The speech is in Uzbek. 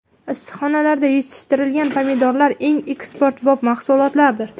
Issiqxonalarda yetishtirilgan pomidorlar eng eksportbop mahsulotdir.